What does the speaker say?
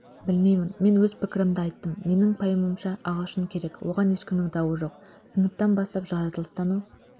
білмеймін мен өз пікірімді айттым менің пайымымша ағылшын керек оған ешкімнің дауы жоқ сыныптан бастап жаратылыстану